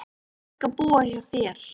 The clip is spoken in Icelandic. Ég fékk að búa hjá þér.